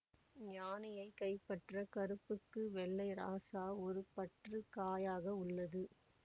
யானையைக் கைப்பற்ற கருப்புக்கு வெள்ளை இராசா ஒரு பற்று காயாக உள்ளது